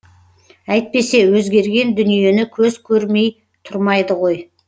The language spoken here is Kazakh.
әйтпесе өзгерген дүниені көз көрмей тұрмайды ғой